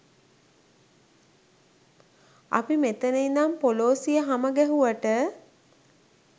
අපි මෙතන ඉඳන් පොලෝසිය හමගැහුවට